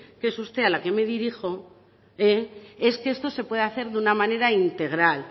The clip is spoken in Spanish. que es usted a la que me dirijo eh es que esto se pueda hacer de una manera integral